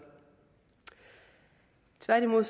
tværtimod